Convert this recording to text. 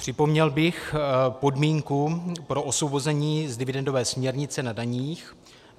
Připomněl bych podmínku pro osvobození z dividendové směrnice na daních.